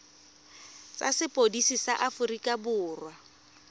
tsa sepodisi sa aforika borwa